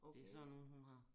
Det sådan nogen hun har